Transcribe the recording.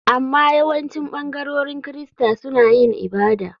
Amma yawancin ɓangarorin Kirista suna yin ibada.